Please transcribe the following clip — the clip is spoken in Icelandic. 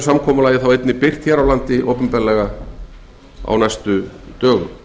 er og einnig birt opinberlega hér á landi á næstu dögum